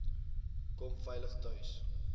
kom veilig tuis